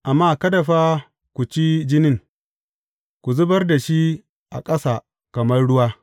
Amma kada fa ku ci jinin, ku zubar da shi a ƙasa kamar ruwa.